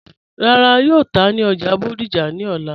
Rárá, yóò tà ní ọ́já Bódìjà ni ọ̀lá.